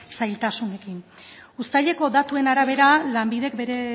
zailtasunekin uztaileko datuen arabera lanbidek bere